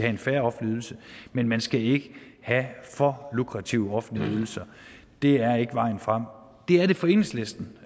en fair offentlig ydelse men man skal ikke have for lukrative offentlige ydelser det er ikke vejen frem det er det for enhedslisten